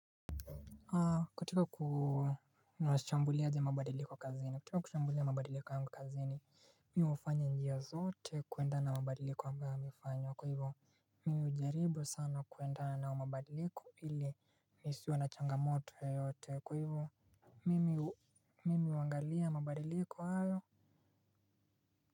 Kutoka kushambulia ya mabadiliko kwa kazini, kutoka kushambulia ya mabadiliko yangu kazini, mimi hufanya njia zote kuenda na mabadiliko ambayo ninafanya, kwa hivyo, mimi hujaribu sana kuenda na mabadiliko ili nisiwe na changamoto yote, kwa hivyo, mimi huangalia mabadiliko hayo.